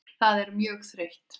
Það er mjög þreytt.